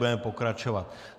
Budeme pokračovat.